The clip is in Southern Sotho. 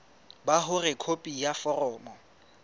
ba hore khopi ya foromo